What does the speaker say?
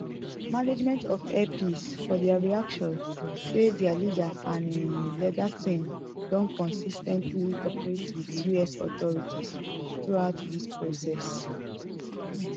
management of air peace for dia reaction say dia leader and im legal team don consis ten tly cooperate wit us authorities throughout dis process